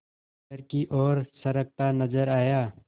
घर की ओर सरकता नजर आया